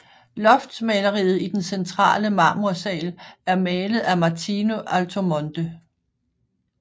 Loftmaleriet i den centrale Marmorsaal er malet af Martino Altomonte